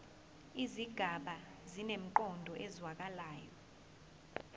izigaba zinemiqondo ezwakalayo